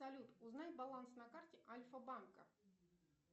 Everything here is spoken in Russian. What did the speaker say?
салют узнай баланс на карте альфа банка